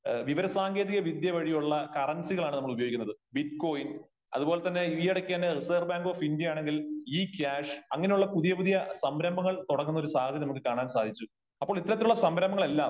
വിവരസാങ്കേതിക വിദ്യ വഴിയുള്ള കറൻസികളാണ് നമ്മൾ ഉപയോഗിക്കുന്നത് . ബിറ്റ്കോയിൻ അത്പോലെ തന്നെ ഈയിടയ്ക്ക് തന്നെ റിസേർവ് ബാങ്ക് ഓഫ് ഇന്ത്യ ആണെങ്കിൽ ഇ കാഷ് അങ്ങനെയുള്ള പുതിയ പുതിയ സംരംഭങ്ങൾ തുടങ്ങുന്ന ഒരു സാഹചര്യം നമുക്ക് കാണാൻ സാധിച്ചു . അപ്പോൾ ഇത്തരത്തിലുള്ള സംരംഭങ്ങൾ എല്ലാം